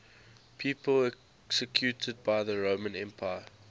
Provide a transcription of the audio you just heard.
people executed by the roman empire